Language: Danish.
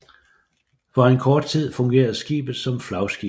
For en kort tid fungerede skibet som flagskib